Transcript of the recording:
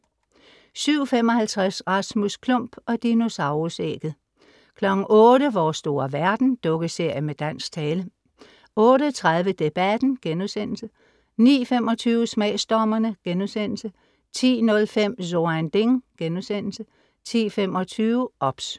07:55 Rasmus Klump og dinosaurus-ægget 08:00 Vores store verden. Dukkeserie med dansk tale 08:30 Debatten* 09:25 Smagsdommerne* 10:05 So ein Ding* 10:25 OBS